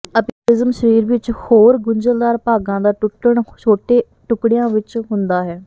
ਅਪਗੋਲਿਜ਼ਮ ਸਰੀਰ ਵਿੱਚ ਹੋਰ ਗੁੰਝਲਦਾਰ ਭਾਗਾਂ ਦਾ ਟੁੱਟਣ ਛੋਟੇ ਟੁਕੜਿਆਂ ਵਿੱਚ ਹੁੰਦਾ ਹੈ